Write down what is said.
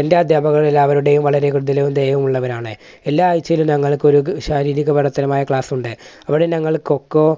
എൻറെ അധ്യാപകർ എല്ലാവരുടെയും വളരെ കൃത്യതയും ദയയും ഉള്ളവരാണ്. എല്ലാ ആഴ്ചയിലും ഞങ്ങൾക്ക് ഒരു ശാരീരിക പഠിത്തരമായ ക്ലാസ് ഉണ്ട്, അവിടെ ഞങ്ങൾ കൊക്കോ